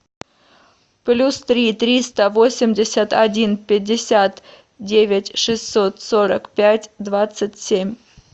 плюс три триста восемьдесят один пятьдесят девять шестьсот сорок пять двадцать семь